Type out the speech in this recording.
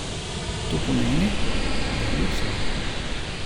To pomeni, da je luksuzen!